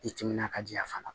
I timinan ka di yan fana